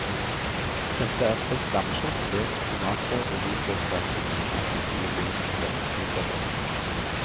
Dette er stekt lammekjøtt, løk, tomater og hvitløksdressing innpakket i olivenstekt pitabrød.